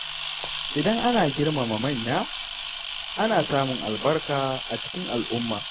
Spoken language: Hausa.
Idan ana girmama manya, ana samun albarka a cikin al’umma.